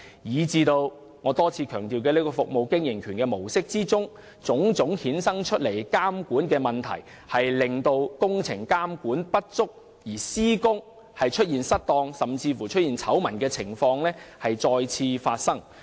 結果，我多次強調的"服務經營權"模式所衍生的種種監管問題，令工程監管不足，導致施工失當的醜聞再次發生。